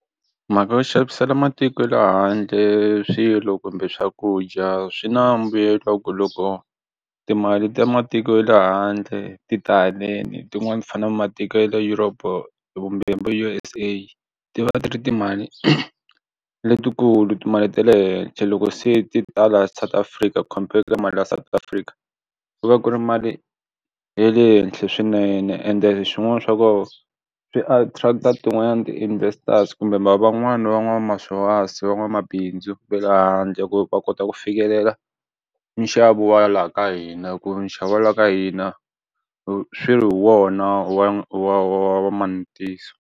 Mhaka yo xavisela matiko ya le handle swilo kumbe swakudya swi na mbuyelo wa ku loko timali ta matiko ya le handle tita haleni tin'wani ti fana na matiko ya le Europe kumbe vo U_S_A ti va ti ri timali letikulu timali ta le henhla loko se ti ta la South Africa compare ka mali ya South Africa ku va ku ri mali ya le henhla swinene ende swin'wana swa kona swi attract-a tin'wana ti investors kumbe mara van'wani van'wamapurasi van'wamabindzu va le handle ku va kota ku fikelela nxavo wa ya laha ka hina ku nxavo wa ka hina wo swi ri hi wona wa wa wa manavetiso.